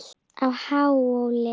á Háhóli.